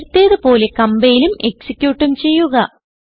നേരത്തേത് പോലെ കംപൈലും എക്സിക്യൂട്ടും ചെയ്യുക